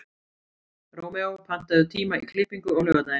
Rómeó, pantaðu tíma í klippingu á laugardaginn.